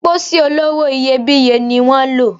Pósí olówó iyebíye ni wan lò